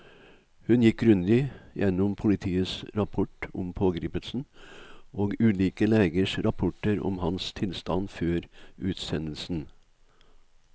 Hun gikk grundig gjennom politiets rapport om pågripelsen og ulike legers rapporter om hans tilstand før utsendelsen.